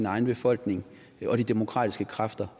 egen befolkning og de demokratiske kræfter